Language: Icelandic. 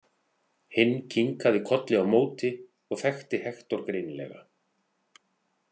Hinn kinkaði kolli á móti og þekkti Hektor greinilega.